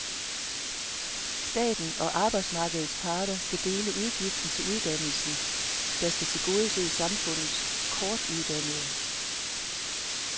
Staten og arbejdsmarkedets parter skal dele udgiften til uddannelsen, der skal tilgodese samfundets kortuddannede.